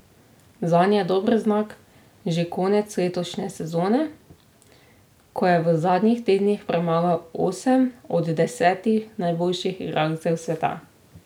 Zanj je dober znak že konec letošnje sezone, ko je v zadnjih tednih premagal osem od desetih najboljših igralcev sveta.